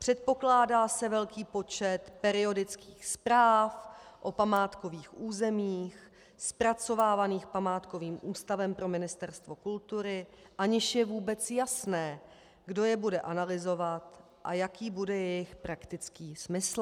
Předpokládá se velký počet periodických zpráv o památkových územích zpracovávaných památkovým ústavem pro Ministerstvo kultury, aniž je vůbec jasné, kdo je bude analyzovat a jaký bude jejich praktický smysl.